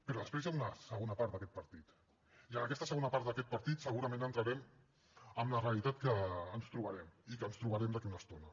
però després hi ha una segona part d’aquest partit i en aquesta segona part d’aquest partit segurament entrarem en la realitat que ens trobarem i que ens trobarem d’aquí a una estona